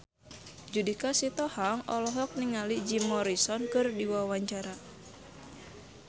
Judika Sitohang olohok ningali Jim Morrison keur diwawancara